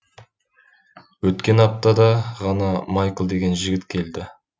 өткен аптада ғана майкл деген жігіт келді